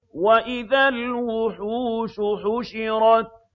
وَإِذَا الْوُحُوشُ حُشِرَتْ